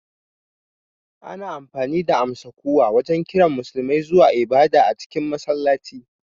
Ana amfani da amsa-kuwa wajen kiran Musulmai zuwa ibada a cikin masallaci